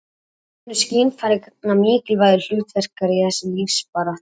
mörg önnur skynfæri gegna mikilvægu hlutverki í þessari lífsbaráttu